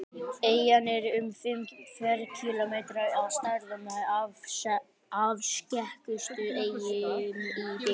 Eyjan er um fimm ferkílómetrar að stærð og með afskekktustu eyjum í byggð.